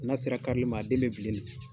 N'a sera karili man a den bɛ bilen de.